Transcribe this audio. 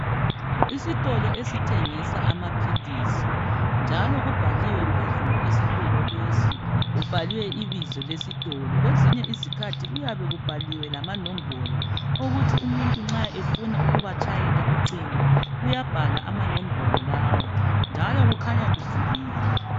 Isitolo esithengisa amaphilisi njalo kubhaliwe phezulu esitolo lesi. Kubhaliwe ibizo lesitolo kwezinye izikhathi kuyabe kubhaliwe lamanombolo uku ukuthi nxa umuntu ebufa ukubatshayela ucingo uyabhala amanombolo lawa njalo kukhanya kuvuliwe.